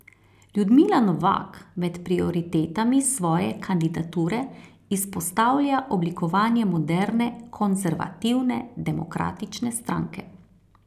Ljudmila Novak med prioritetami svoje kandidature izpostavlja oblikovanje moderne konservativne demokratične stranke.